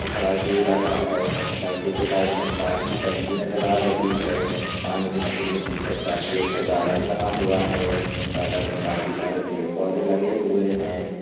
खड़ा दे रहा है लड़के के बाजु में पानी की टंकी नजर आ रही है पानी की टंकी के पीछे काफी अच्छा गार्डन बना हुआ है गार्डन में काफी सरे पेड़-पौधे लगे हुए हैं।